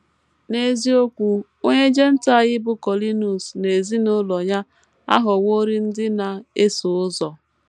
N’eziokwu, onye Jentaịl bụ́ Kọnịliọs na ezinụlọ ya aghọworị ndị na - eso ụzọ.